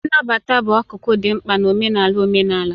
Nnabata bụ akụkụ dị mkpa nke omenala omenala.